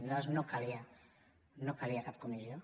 per nosaltres no calia cap comissió